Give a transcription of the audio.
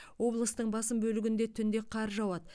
облыстың басым бөлігінде түнде қар жауады